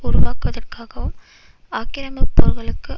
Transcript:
உருவாக்குவதற்காகவும் ஆக்கிரமிப்பு போர்களுக்கு